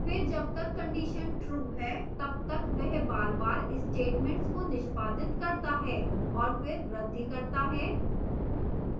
फिर जब तक condition true है तब तक वह बारबार statements को निष्पादित करता है और फिर वृद्धि करता है